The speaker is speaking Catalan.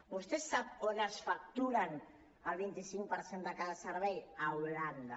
vostè sap on es factura el vint cinc per cent de cada servei a holanda